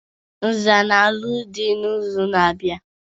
Naza na-alụ dị n'izu na-abịa.